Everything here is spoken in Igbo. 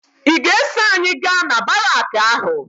Ị ga-eso anyị gaa na baraakị ahụ?